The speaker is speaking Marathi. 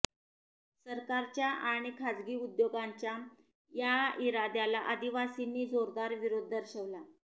सरकारच्या आणि खाजगी उद्योगांच्या या इराद्याला आदिवासींनी जोरदार विरोध दर्शवला